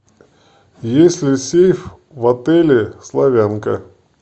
есть ли сейф в отеле славянка